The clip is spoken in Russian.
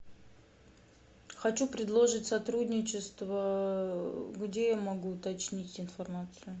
хочу предложить сотрудничество где я могу уточнить информацию